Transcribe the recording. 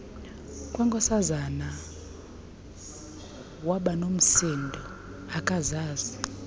kwenkosazana wabanomsindo akazazi